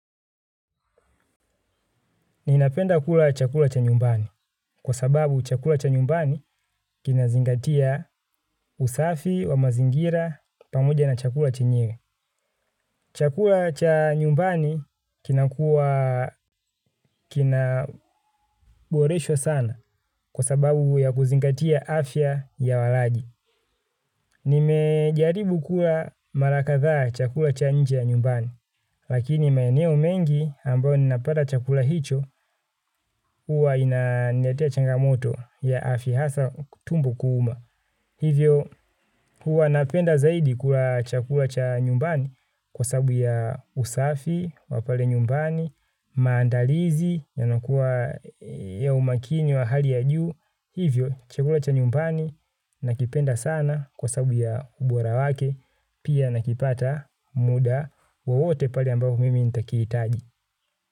Ninapenda kula chakula cha nyumbani kwa sababu chakula cha nyumbani kinazingatia usafi wa mazingira pamoja na chakula chenyewe. Chakula cha nyumbani kinakuwa kina boresho sana kwa sababu ya kuzingatia afya ya walaji. Nimejaribu kula mara kadhaa chakula cha nje ya nyumbani. Lakini maeneo mengi ambayo ninapata chakula hicho huwa inaniletea changamoto ya afya hasa tumbo kuuma. Hivyo huwa napenda zaidi kula chakula cha nyumbani. Kwa sababu ya usafi, wa pale nyumbani, maandalizi yanakuwa ya umakini wa hali ya juu. Hivyo, chakula cha nyumpani nakipenda sana kwa sababu ya ubora wake, pia nakipata muda wowote pale ambapo mimi nitakihitaji.